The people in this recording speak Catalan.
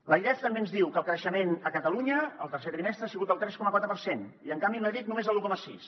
l’airef també ens diu que el creixement a catalunya el tercer trimestre ha sigut del tres coma quatre per cent i en canvi a madrid només l’un coma sis